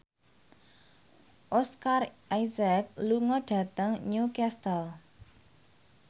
Oscar Isaac lunga dhateng Newcastle